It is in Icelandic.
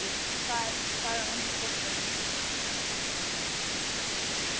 Nú hvar er hún fóstra mín?